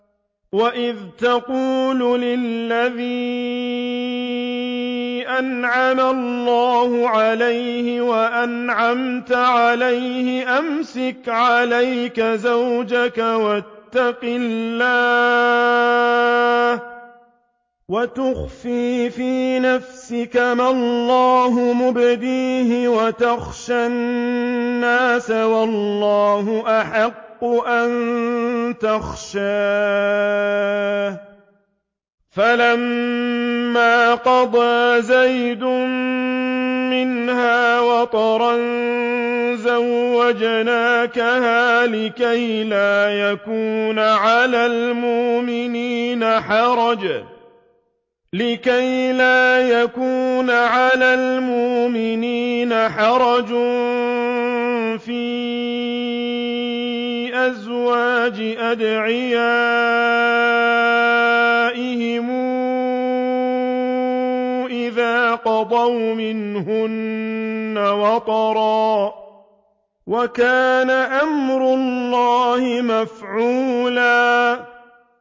وَإِذْ تَقُولُ لِلَّذِي أَنْعَمَ اللَّهُ عَلَيْهِ وَأَنْعَمْتَ عَلَيْهِ أَمْسِكْ عَلَيْكَ زَوْجَكَ وَاتَّقِ اللَّهَ وَتُخْفِي فِي نَفْسِكَ مَا اللَّهُ مُبْدِيهِ وَتَخْشَى النَّاسَ وَاللَّهُ أَحَقُّ أَن تَخْشَاهُ ۖ فَلَمَّا قَضَىٰ زَيْدٌ مِّنْهَا وَطَرًا زَوَّجْنَاكَهَا لِكَيْ لَا يَكُونَ عَلَى الْمُؤْمِنِينَ حَرَجٌ فِي أَزْوَاجِ أَدْعِيَائِهِمْ إِذَا قَضَوْا مِنْهُنَّ وَطَرًا ۚ وَكَانَ أَمْرُ اللَّهِ مَفْعُولًا